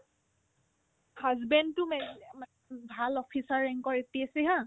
husband তো মেজ ভাল officer rank ৰ APSC haa